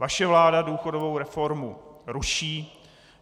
Vaše vláda důchodovou reformu ruší.